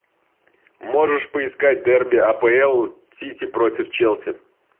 можешь поискать дерби апл сити против челси